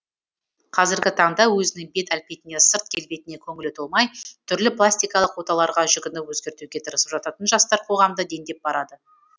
қазіргі таңда өзінің бет әлпетіне сырт келбетіне көңілі толмай түрлі пластикалық оталарға жүгініп өзгертуге тырысып жататын жастар қоғамда дендеп барады